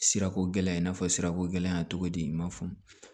Sirako gɛlɛya i n'a fɔ sirako gɛlɛnya cogo di i ma faamu